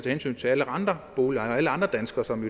hensyn til alle andre boligejere og alle andre danskere som